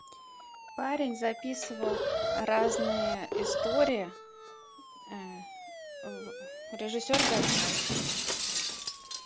парень записывал разные истории режиссер гайдай